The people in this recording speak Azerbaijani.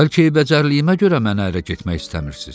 Bəlkə eybəcərliyimə görə mənə ərə getmək istəmirsiz?